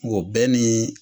O bɛɛ nii